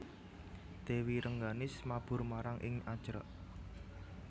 Dèwi Rengganis mabur marang ing Ajrak